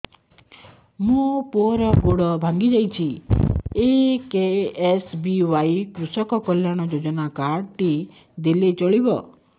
ମୋ ପୁଅର ଗୋଡ଼ ଭାଙ୍ଗି ଯାଇଛି ଏ କେ.ଏସ୍.ବି.ୱାଇ କୃଷକ କଲ୍ୟାଣ ଯୋଜନା କାର୍ଡ ଟି ଦେଲେ ଚଳିବ